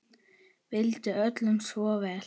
Vildi öllum svo vel.